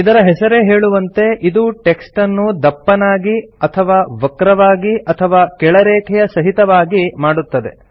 ಇದರ ಹೆಸರೇ ಹೇಳುವಂತೆ ಇದು ಟೆಕ್ಸ್ಟನ್ನು ದಪ್ಪನಾಗಿ ಅಥವಾ ವಕ್ರವಾಗಿ ಅಥವಾ ಕೆಳರೇಖೆಯ ಸಹಿತವಾಗಿ ಮಾಡುತ್ತದೆ